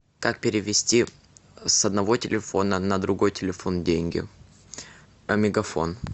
как перевести с одного телефона на другой телефон деньги а мегафон